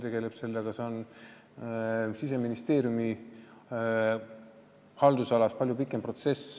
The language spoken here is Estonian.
See on palju pikem protsess Siseministeeriumi haldusalas.